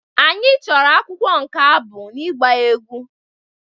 Anyị chọrọ akwụkwọ nke abụ na ịgba egwú